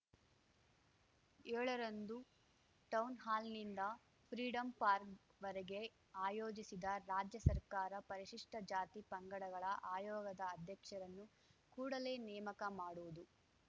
ಯೋಳ ರಂದು ಟೌನ್‌ಹಾಲ್‌ನಿಂದ Freedom Park ವರೆಗೆ ಆಯೋಜಿಸಿದ ರಾಜ್ಯ ಸರ್ಕಾರ ಪರಿಶಿಷ್ಟ ಜಾತಿ ಪಂಗಡಗಳ ಆಯೋಗದ ಅಧ್ಯಕ್ಷರನ್ನು ಕೂಡಲೇ ನೇಮಕ ಮಾಡುವುದು